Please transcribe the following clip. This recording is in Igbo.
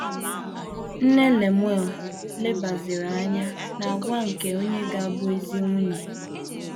Nne Lemuel lebaziri anya n’àgwà nke onye ga - abụ ezi nwunye.